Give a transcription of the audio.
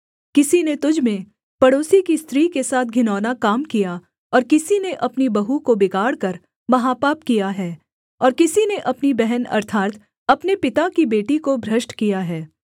किसी ने तुझ में पड़ोसी की स्त्री के साथ घिनौना काम किया और किसी ने अपनी बहू को बिगाड़कर महापाप किया है और किसी ने अपनी बहन अर्थात् अपने पिता की बेटी को भ्रष्ट किया है